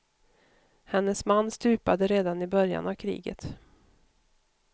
Hennes man stupade redan i början av kriget.